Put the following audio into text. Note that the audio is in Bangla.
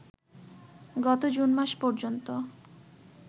গত জুন মাস পর্যন্ত